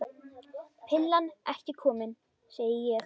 Pillan ekki komin, segi ég.